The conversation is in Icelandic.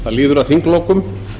það líður að þinglokum